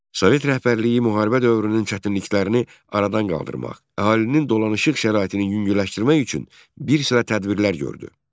Sovet rəhbərliyi müharibə dövrünün çətinliklərini aradan qaldırmaq, əhalinin dolanışıq şəraitinin yüngülləşdirmək üçün bir sıra tədbirlər gördü.